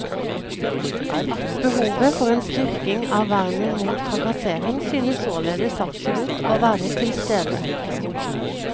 Behovet for en styrking av vernet mot trakassering synes således absolutt å være til stede.